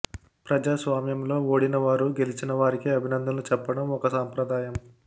ప్రజాస్వామ్యంలో ఓడిన వారు గెలిచిన వారికి అభినందనలు చెప్పడం ఒక సంప్రదాయం